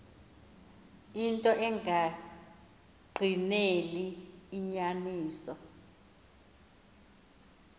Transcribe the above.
into engagqineli inyaniso